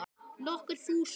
Nokkur þúsund?